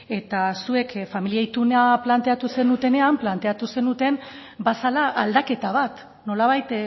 eta zuek familia ituna planteatu zenutenean planteatu zenuten bazela aldaketa bat nolabait